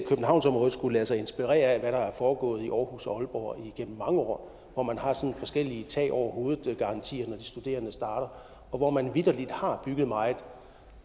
københavnsområdet skulle lade sig inspirere af hvad der er foregået i aarhus og aalborg igennem mange år hvor man har forskellige tag over hovedet garantier når de studerende starter og hvor man vitterlig har bygget meget